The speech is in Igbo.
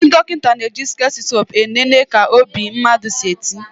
Ndị dọkịta na eji stetoskope e nene ka obi mmadụ si eti